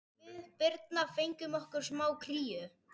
Við Birna fengum okkur smá kríu.